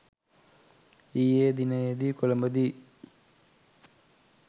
ඊයේ දිනයේදී කොලඹදී